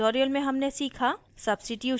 इस tutorial में हमने सीखा